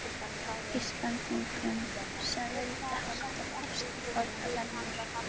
Íslendingum sem vildu halda fast við fornar venjur.